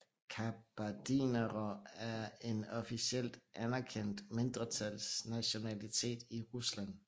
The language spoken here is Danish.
Kabardinere er en officielt anerkendt mindretalsnationalitet i Rusland